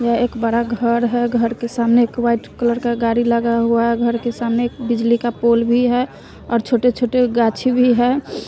यह एक बड़ा घर है घर के सामने एक व्हाइट कलर का गाड़ी लगा हुआ है घर के सामने एक बिजली का पोल भी है और छोटे-छोटे गाछी भी है।